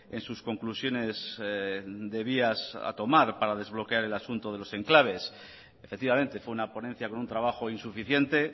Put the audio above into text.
en sus conclusiones de vías a tomar para desbloquear el asunto de los enclaves efectivamente fue una ponencia con un trabajo insuficiente